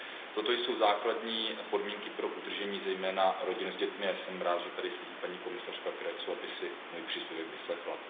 Toto jsou základní podmínky pro udržení zejména rodin s dětmi a jsem rád, že tady sedí paní komisařka Creţuová, aby si můj příspěvek vyslechla.